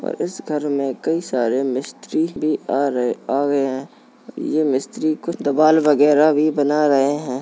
और इस घर में कई सारे मिस्री भी आ रहे आ गए हैं ये मिस्री कुछ दीवाल वगैरह भी बना रहे हैं।